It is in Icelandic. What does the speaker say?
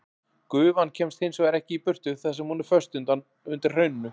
Gufan kemst hins vegar ekki í burtu þar sem hún er föst undir hrauninu.